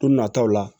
Don nataw la